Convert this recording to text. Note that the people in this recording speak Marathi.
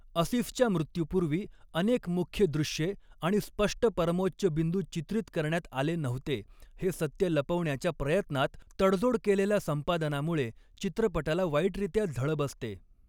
असिफच्या मृत्यूपूर्वी अनेक मुख्य दृश्ये आणि स्पष्ट परमोच्चबिंदु चित्रित करण्यात आले नव्हते हे सत्य लपवण्याच्या प्रयत्नात तडजोड केलेल्या संपादनामुळे चित्रपटाला वाईटरित्या झळ बसते.